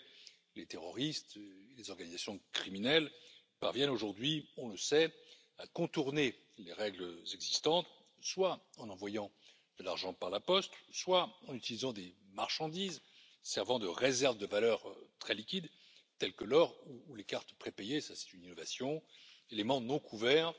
En effet, les terroristes et les organisations criminelles parviennent aujourd'hui, on le sait, à contourner les règles existantes, soit en envoyant de l'argent par la poste, soit en utilisant des marchandises servant de réserve de valeurs très liquides, telles que l'or ou les cartes prépayées c'est une innovation éléments non couverts